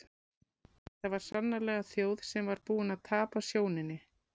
Þetta var sannarlega þjóð sem var búin að tapa sjóninni.